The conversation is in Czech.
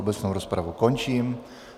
Obecnou rozpravu končím.